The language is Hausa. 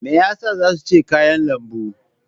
Me yasa zan ci kayan lambu?